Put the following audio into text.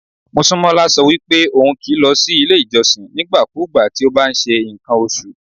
Mosúnmọ́lá sọ wípé ohun kì í lọ sí ilé ìjọsìn nígbàkúùgbà tí ó bá ń ṣe ǹkan oṣù.